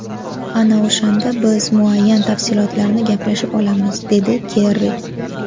Ana o‘shanda biz muayyan tafsilotlarni gaplashib olamiz”, dedi Kerri.